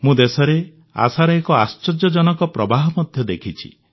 ମୁଁ ଦେଶରେ ଆଶାର ଏକ ଆଶ୍ଚର୍ଯ୍ୟଜନକ ପ୍ରବାହ ମଧ୍ୟ ଦେଖିଛି